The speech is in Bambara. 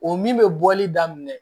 O min bɛ bɔli daminɛ